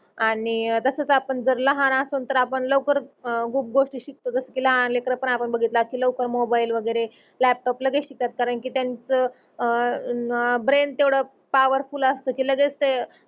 आणि तसच आपन जर लहान असण तर आपन लवकरच गोष्टी शिकतो. जस कि लहान लेकान पण आपन बगितला कि लवकर मोबाईल वगेरे लापटोप लगेच शिकतात कारण कि त्याचं अह ब्रेन तेवढ पावरफुल असत लगेच ते